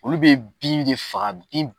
Olu be bin de faga bin